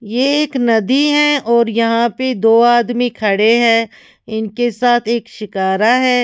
ये एक नदी है और यहां पे दो आदमी खड़े हैं इनके साथ एक शिकारा है।